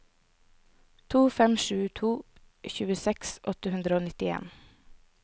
to fem sju to tjueseks åtte hundre og nittien